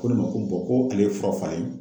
Ko ne ma ko ko ale ye fura falen